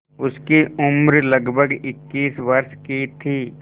उसकी उम्र लगभग इक्कीस वर्ष की थी